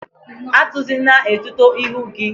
Atuzina etuto ihu gi!